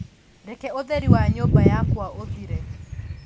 Reke ũtheri wa nyũmba yakwa ũthire.